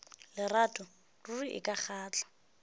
lerato ruri e ka kgahla